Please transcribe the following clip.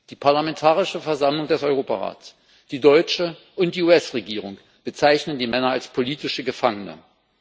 Die Parlamentarische Versammlung des Europarats, die deutsche und die US Regierung bezeichnen die Männer als politische Gefangene.